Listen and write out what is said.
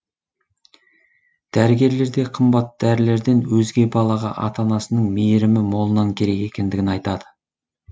дәрігерлер де қымбат дәрілерден өзге балаға ата анасының мейірімі молынан керек екендігін айтады